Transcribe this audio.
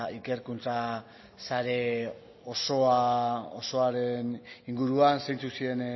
ikerkuntza sare osoaren inguruan zeintzuk ziren